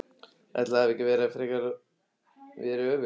Ætli það hafi ekki frekar verið öfugt!